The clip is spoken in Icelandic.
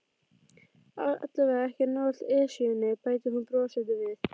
Allavega ekki nálægt Esjunni bætti hún brosandi við.